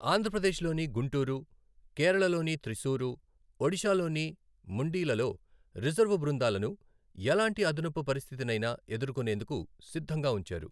ఆంధ్రప్రదేశ్లోని గుంటూరు, కేరళలోని త్రిసూరు, ఒడిషాలోని ముండిలలో రిజర్వు బృందాలను ఎలాంటి అదనపు పరిస్థితినైనా ఎదుర్కొనేందుకు సిద్ధంగా ఉంచారు.